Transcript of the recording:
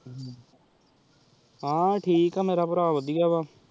ਹਾਂ ਠੀਕ ਆਹ ਮੇਰਾ ਪਰ ਵਾਦਿਯ ਵ